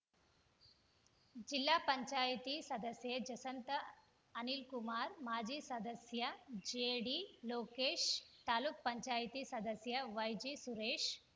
ಜಿಲ್ಲಾ ಪಂಚಾಯಿತಿ ಸದಸ್ಯೆ ಜಸಂತಾ ಅನಿಲ್‌ಕುಮಾರ್‌ ಮಾಜಿ ಸದಸ್ಯ ಜೆಡಿ ಲೋಕೇಶ್‌ ತಾಲುಕು ಪಂಚಾಯತಿ ಸದಸ್ಯ ವೈಜಿ ಸುರೇಶ್‌